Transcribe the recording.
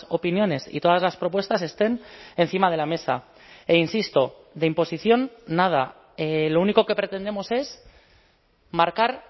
opiniones y todas las propuestas estén encima de la mesa e insisto de imposición nada lo único que pretendemos es marcar